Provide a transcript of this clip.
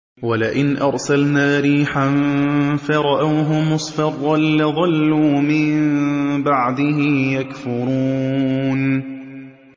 وَلَئِنْ أَرْسَلْنَا رِيحًا فَرَأَوْهُ مُصْفَرًّا لَّظَلُّوا مِن بَعْدِهِ يَكْفُرُونَ